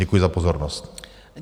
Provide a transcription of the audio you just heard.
Děkuji za pozornost.